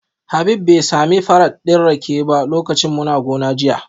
Habib bai sami farat din rake ba lokacin muna gona jiya